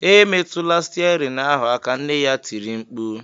Emetụla stiarin ahụ aka!” nne ya tiri mkpu